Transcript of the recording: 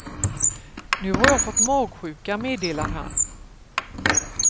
Nu har jag fått magsjuka, meddelar han.